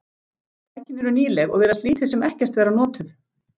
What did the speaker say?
Tækin eru nýleg og virðast lítið sem ekkert vera notuð.